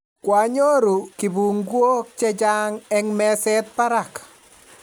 Kwanyoru kibunguok chechang eng' mezet barak